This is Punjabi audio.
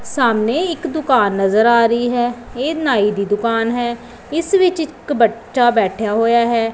ਸਾਹਮਣੇ ਇੱਕ ਦੁਕਾਨ ਨਜ਼ਰ ਆ ਰਹੀ ਹੈ ਇਹ ਨਾਈ ਦੀ ਦੁਕਾਨ ਹੈ ਇਸ ਵਿੱਚ ਇੱਕ ਬੱਚਾ ਬੈਠਿਆ ਹੋਇਆ ਹੈ।